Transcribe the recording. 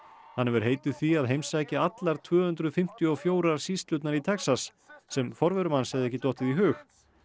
hann hefur heitið því að heimsækja allar tvö hundruð fimmtíu og fjögur sýslurnar í Texas sem forverum hans hefði ekki dottið í hug